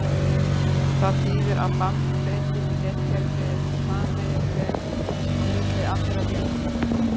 Það þýðir að bandbreiddin í netkerfinu er sameiginleg á milli allra véla.